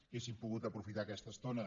hauríem pogut aprofitar aquesta estona